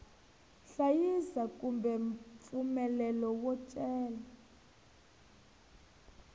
hlayisa kumbe mpfumelelo wo cela